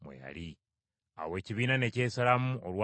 Awo ekibiina ne kyesalamu olwa Yesu.